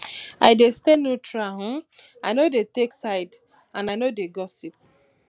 i dey stay neutral um i no dey take sides and i no dey gossip